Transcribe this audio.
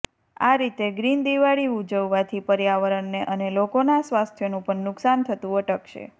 આ રીતે ગ્રીન દિવાળી ઉજવવાથી પર્યાવરણને અને લોકોના સ્વાસ્થ્યનું પણ નુકસાન થતું અટકશે